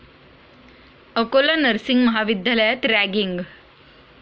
Akola nursing महाविद्यालयात ragging